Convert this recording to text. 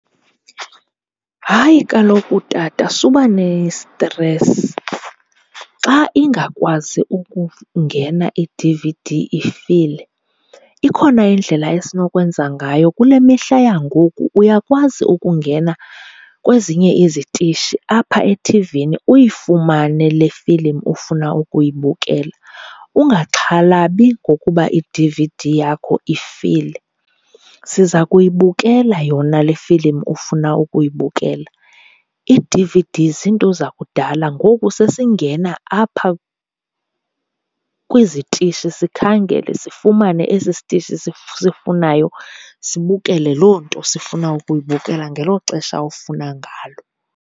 Hayi kaloku tata, suba nestresi. Xa ingakwazi ukungena i-D_V_D ifile ikhona indlela esinokwenza ngayo. Kule mihla yangoku uyakwazi ukungena kwezinye izitishi apha ethivini uyifumane le filimu ufuna ukuyibukela. Ungaxhalabi ngokuba i-D_V_D yakho ifile, siza kuyibukela yona le filimu ufuna ukuyibukela. Ii-D_V_D ziinto zakudala, ngoku sesingena apha kwizitishi sikhangele sifumane esi sitishi sisifunayo, sibukele loo nto sifuna ukuyibukela ngelo xesha ofuna ngalo.